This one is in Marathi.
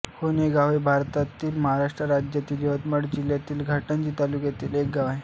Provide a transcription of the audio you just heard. होनेगाव हे भारतातील महाराष्ट्र राज्यातील यवतमाळ जिल्ह्यातील घाटंजी तालुक्यातील एक गाव आहे